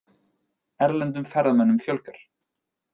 Erlendum ferðamönnum fjölgar